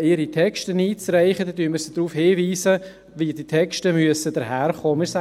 ihre Texte einzureichen, weisen wir sie darauf hin, wie die Texte daherkommen müssen.